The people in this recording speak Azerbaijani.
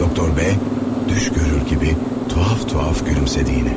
Doktor B düşgörür kimi tuhaf-tuhaf gülümsədi yenə.